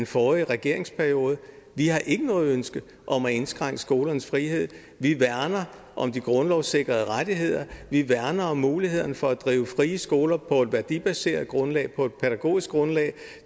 forrige regeringsperiode vi har ikke noget ønske om at indskrænke skolernes frihed vi værner om de grundlovssikrede rettigheder vi værner om mulighederne for at drive frie skoler på et værdibaseret grundlag på et pædagogisk grundlag